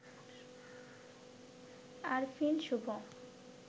Arfin Shubho